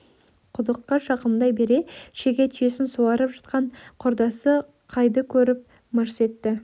құдыққа жақындай бере шеге түйесін суарьп жатқан құрдасы қайды көріп мырс етті